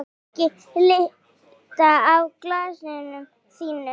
Ekki líta af glasinu þínu.